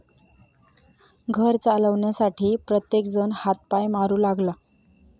घर चालवण्यासाठी प्रत्येकजण हातपाय मारू लागला.